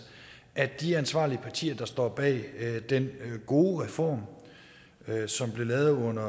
at de ansvarlige partier der står bag den gode reform som blev lavet under